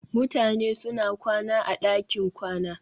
Mutane suna kwana a ɗakin kwana